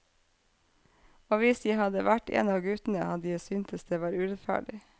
Og hvis jeg hadde vært en av de guttene, hadde jeg synes det var urettferdig.